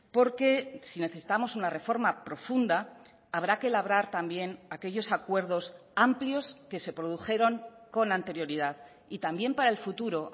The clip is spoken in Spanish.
porque si necesitamos una reforma profunda habrá que labrar también aquellos acuerdos amplios que se produjeron con anterioridad y también para el futuro